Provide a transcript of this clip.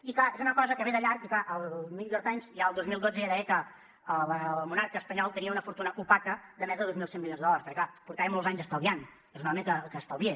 i clar és una cosa que ve de llarg i clar el new york times ja el dos mil dotze deia que el monarca espanyol tenia una fortuna opaca de més de dos mil cent milions de dòlars perquè clar portava molts anys estalviant és un home que estalvia